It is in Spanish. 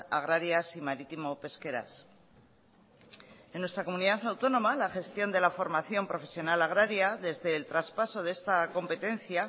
agrarias y marítimo pesqueras en nuestra comunidad autónoma la gestión de la formación profesional agraria desde el traspaso de esta competencia